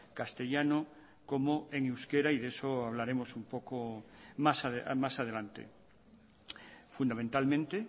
castellano como en euskera de eso hablaremos un poco más adelante fundamentalmente